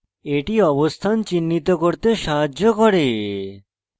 এটি অবস্থান চিহ্নিত করতে সাহায্য করে